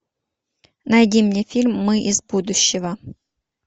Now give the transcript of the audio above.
найди мне фильм мы из будущего